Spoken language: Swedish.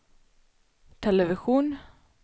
television